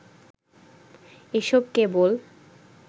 এসব কেবল